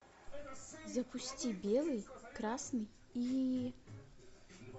запусти белый красный и